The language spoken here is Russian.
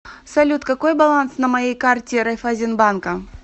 салют какой баланс на моей карте райффайзенбанка